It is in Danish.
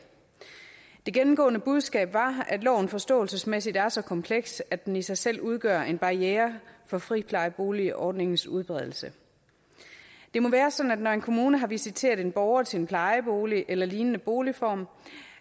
det gennemgående budskab var at loven forståelsesmæssigt er så kompleks at den i sig selv udgør en barriere for friplejeboligordningens udbredelse det må være sådan at når en kommune har visiteret en borger til en plejebolig eller lignende boligform